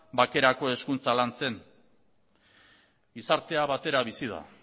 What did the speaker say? bakerako hizkuntza lantzen gizartea batera bizi da